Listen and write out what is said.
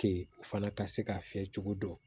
Ke u fana ka se ka fiyɛ cogo dɔn